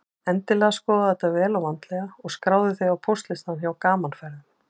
Endilega skoðaðu þetta vel og vandlega og skráðu þig á póstlistann hjá Gaman Ferðum.